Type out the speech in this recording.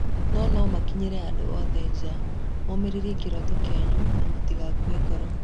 Niĩ no nĩmakinyĩirie andũ a nja othe: mũrũmĩrĩre kĩroto kĩanyu na mũtigakue ngoro.